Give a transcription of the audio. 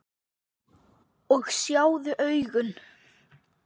Og sjáðu augun!